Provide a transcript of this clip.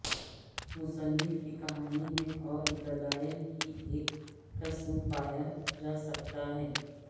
مصنف کی کہانی میں اور دلائل کی ایک قسم پایا جا سکتا ہے